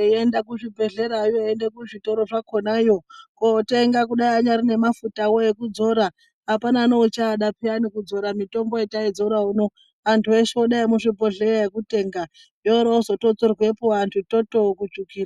eienda kuzvibhedhlerayo eienda zvizvitoro zvakonayo. Kotenga kunyari nemafutavo ekudzora hapana neuchaada peyani kudzira mitombo yataidzora uno. Antu eshe kudai yemuzvibhleya yekutenga oro ozotodzorwepo antu toto kusvukira.